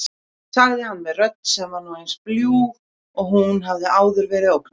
sagði hann með rödd sem var nú eins bljúg og hún hafði áður verið ógnandi.